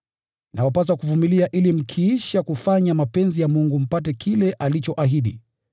Inawapasa kuvumilia ili mkiisha kufanya mapenzi ya Mungu mpate kile alichoahidi.